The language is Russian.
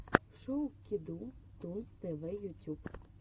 шоу кеду тунс тв ютюб